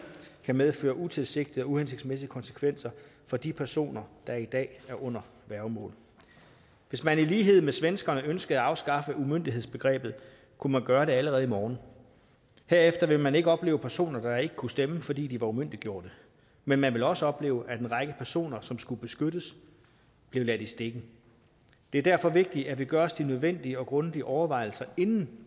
kan medføre utilsigtede og uhensigtsmæssige konsekvenser for de personer der i dag er under værgemål hvis man i lighed med svenskerne ønskede at afskaffe umyndighedsbebegrebet kunne man gøre det allerede i morgen herefter ville man ikke opleve personer der ikke kunne stemme fordi de var umyndiggjort men man ville også opleve at en række personer som skulle beskyttes blev ladt i stikken det er derfor vigtigt at vi gør os de nødvendige og grundige overvejelser inden